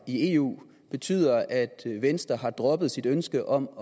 i eu betyder at venstre har droppet sit ønske om